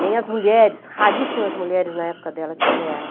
Nem as mulheres, raríssimas mulheres na época dela tiveram.